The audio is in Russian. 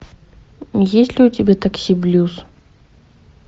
есть ли у тебя такси блюз